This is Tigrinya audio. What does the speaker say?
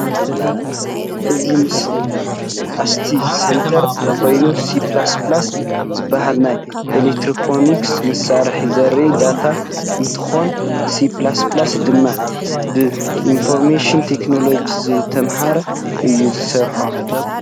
እዚ ምስሊ ኣስቲ ሰንተር ኮይኑ C++ ዝባሃል ናይ ኤሌክትሪኒክስ መሳርሒ ዘርኢ ዳታ እንትኮን C++ ድማ ብኢንፎርሜሽን ቴክኖሎጂ ዝተማሃ እዩ ዝሰርሖ።